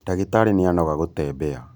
ndagĩtarĩnĩanoga gũtembea.